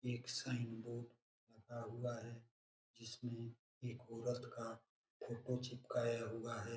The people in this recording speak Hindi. एक साइन बोर्ड लगा हुआ है जिसमे एक औरत का फ़ोटो चिपकाया हुआ है।